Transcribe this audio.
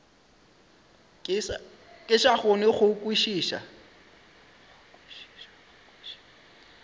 ke sa kgone go kwešiša